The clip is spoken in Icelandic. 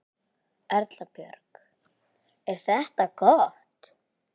Erla Björg: Er þetta gott?